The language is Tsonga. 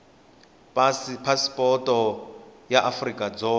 pasi phasipoto ya afrika dzonga